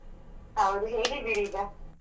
ಹೌದು ಹೇಗಿದ್ದೀರಿ ಈಗ?